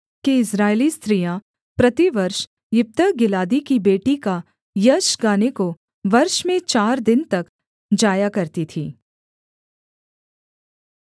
कि इस्राएली स्त्रियाँ प्रतिवर्ष यिप्तह गिलादी की बेटी का यश गाने को वर्ष में चार दिन तक जाया करती थीं